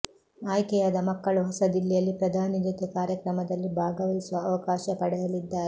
ಆಯ್ಕೆಯಾದ ಮಕ್ಕಳು ಹೊಸದಿಲ್ಲಿಯಲ್ಲಿ ಪ್ರಧಾನಿ ಜೊತೆ ಕಾರ್ಯಕ್ರಮದಲ್ಲಿ ಭಾಗವಹಿಸುವ ಅವಕಾಶ ಪಡೆಯಲಿದ್ದಾರೆ